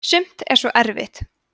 sumt er svo erfitt